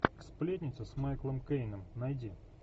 сплетница с майклом кейном найди